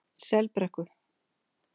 Selbrekku